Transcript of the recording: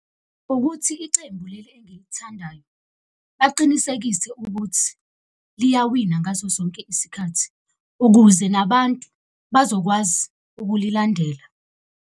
Ukuthi icembu leli engilithandayo bacinisekise ukuthi liyawina ngaso sonke isikhathi, ukuze nabantu bazokwazi ukulilandela.